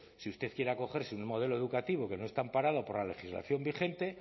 si usted quiere acogerse a un modelo educativo que no está amparado por la legislación vigente